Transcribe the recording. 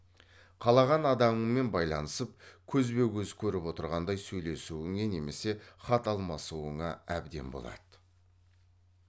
қалаған адамыңмен байланысып көзбе көз көріп отырғандай сөйлесуіңе немесе хат алмасуыңа әбден болады